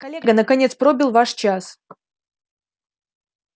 коллега наконец пробил ваш час